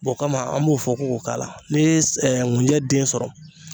B'o kama an b'o fɔ ko k'o k'ala n'i ye s ŋunjɛ den sɔrɔ